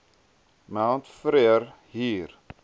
mount frere hier